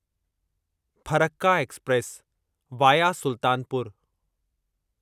Farakka express via Sultanpur